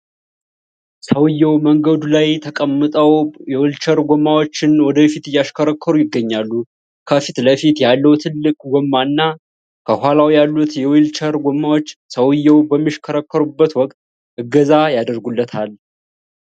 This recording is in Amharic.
ሰውየው መንገዱ ላይ ተቀምጠው የዊልቸር ጎማቸውን ወደፊት እያሽከረከሩ ይገኛሉ። ከፊት ለፊቱ ያለው ትልቅ ጎማና ከኋላው ያሉት የዊልቸር ጎማዎች ሰውየው በሚያሽከረክሩበት ወቅት እገዛ ያደርጋሉ።